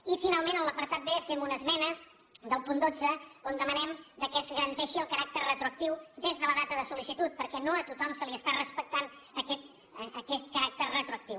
i finalment en l’apartat b fem una esmena del punt dotze on demanem que es garanteixi el caràcter retroactiu des de la data de sol·licitud perquè no a tothom se li està respectant aquest caràcter retroactiu